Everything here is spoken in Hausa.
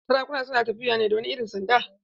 Sarakuna su na tafiya ne da wani irin sanda.